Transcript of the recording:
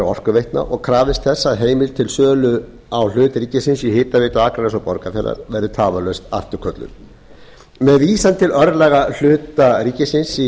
orkuveitna og krafist þess að heimild til sölu á hlut ríkisins í hitaveitu akraness og borgarfjarðar verði tafarlaust afturkölluð með vísan til örlaga hluta ríkisins í